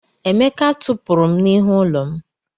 Emeka tụpụrụ m n'ihu ụlọ m.